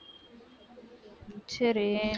சரி